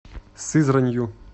сызранью